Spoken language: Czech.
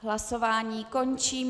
Hlasování končím.